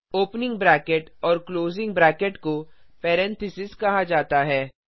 opening bracket और closing bracket को parenthesis कहा जाता है